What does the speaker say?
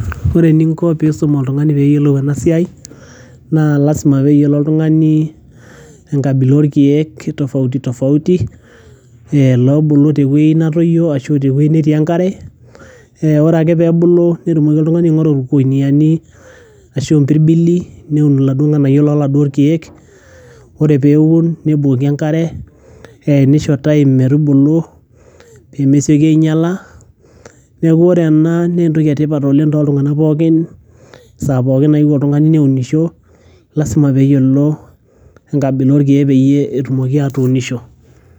Ore eninko peisum oltungani mibunga enasiai naa lasima peyiolo oltungani enkabila orkiek labulu tewueji natoyio arashu ore ake peebulu netumoki oltungani aingoru ewoi naun ashu a mpirbili meun laduo landerera ,ore peun nebukoki enkare neisho time pemesieki ainyala, neaku ore enaa naa entoki etipat oleng saa pookin nayieu oltungani neunisho lasima peyiolou oltungani kulo kiek petumoki atuunisho.